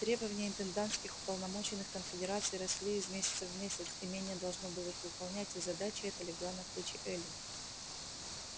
требования интендантских уполномоченных конфедерации росли из месяца в месяц имение должно было их выполнять и задача эта легла на плечи эллин